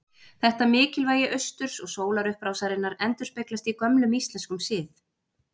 Þetta mikilvægi austurs og sólarupprásarinnar endurspeglast í gömlum íslenskum sið.